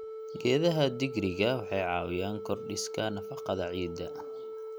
Geedaha digiriga waxay caawiyaan korodhsiga nafaqada ciidda.